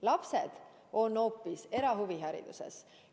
Lapsed on erahuvihariduses.